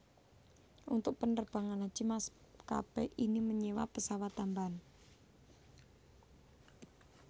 Untuk penerbangan Haji maskapé ini menyewa pesawat tambahan